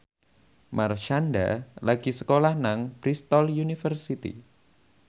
Marshanda lagi sekolah nang Bristol university